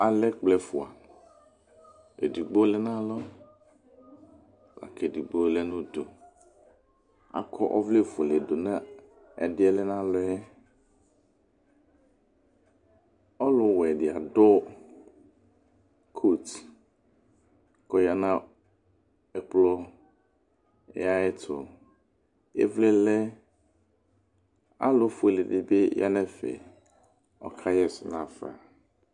Alɛ ɛkplɔ ɛfʊa Edɩgbo lɛ nalɔ akedɩgbo lɛ nʊdʊ Akɔ ɔvlɛ fʊele dʊ nʊ ɛdɩɛ lɛ nalɔ ƴɛ Ɔlʊwɛ dɩ adʊ cot kɔ ya nʊ ɛkplɔ ya yɛtʊ Ɩvlɩ lɛ, alʊfuele dɩ bɩ ƴa nɛfɛ kɔka ƴɛsɛ nafa